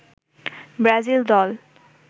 Brazil দল